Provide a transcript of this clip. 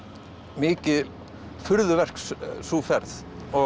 mikið furðuverk sú ferð